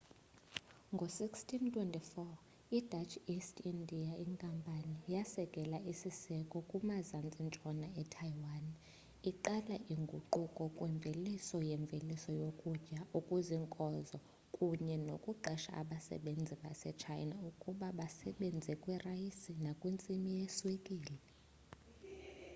ngo-1624 i-dutch east india inkampani yaseka isiseko kumazantsi-ntshona etaiwan iqala inguquko kwimveliso yemveliso yokutya okuziinkozo kunye nokuqesha abasebenzi basechina ukuba basebenze kwirayisi nakwintsimi yeswekile